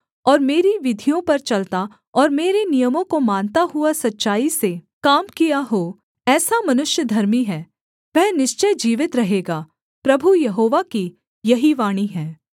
और मेरी विधियों पर चलता और मेरे नियमों को मानता हुआ सच्चाई से काम किया हो ऐसा मनुष्य धर्मी है वह निश्चय जीवित रहेगा प्रभु यहोवा की यही वाणी है